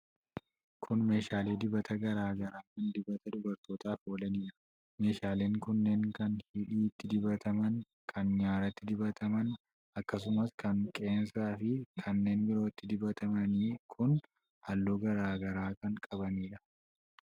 Kun meeshaalee dibata garaa garaa kan dibata dubartootaaf oolanidha. Meeshaaleen kunneen, kan hidhiitti dibataman, kan nyaaratti dibataman, akkasumas kan qeensaa fi kanneen birooti. Dibatoonni kun halluu garaa garaa kan qabaniidha.